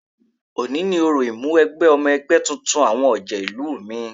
Òní ni òrò Ìmúwẹgbẹ́ ọmọ ẹgbẹ́ tuntun àwọn ọ̀jẹ̀ ìlú mi